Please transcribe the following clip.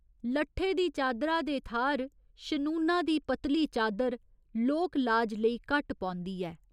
लट्ठे दी चादरा दे थाह्‌र शनूना दी पतली चादर लोक लाज लेई घट्ट पौंदी ऐ।